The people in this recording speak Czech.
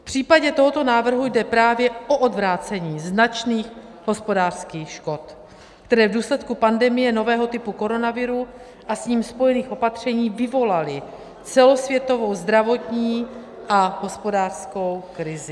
V případě tohoto návrhu jde právě o odvrácení značných hospodářských škod, které v důsledku pandemie nového typu koronaviru a s ním spojených opatření vyvolaly celosvětovou zdravotní a hospodářskou krizi.